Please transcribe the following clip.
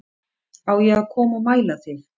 Á ég að koma og mæla þig